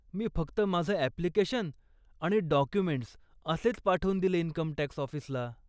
मी फक्त माझं अप्लिकेशन आणि डॉक्युमेंट्स असेच पाठवून दिले इन्कमटॅक्स ऑफिसला.